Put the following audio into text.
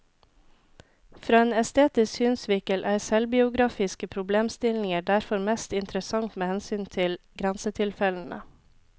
Fra en estetisk synsvinkel er selvbiografiske problemstillinger derfor mest interessant med hensyn til grensetilfellene.